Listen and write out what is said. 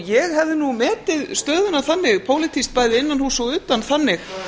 ég hefði nú metið stöðuna þannig pólitískt bæði innanhúss og utan þannig